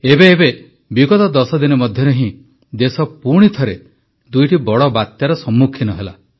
ଏବେ ଏବେ ବିଗତ ଦଶ ଦିନ ମଧ୍ୟରେ ହିଁ ଦେଶ ପୁଣି ଥରେ ଦୁଇଟି ବଡ଼ ବାତ୍ୟାର ସମ୍ମୁଖୀନ ହେଲା